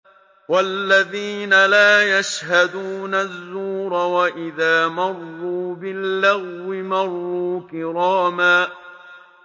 وَالَّذِينَ لَا يَشْهَدُونَ الزُّورَ وَإِذَا مَرُّوا بِاللَّغْوِ مَرُّوا كِرَامًا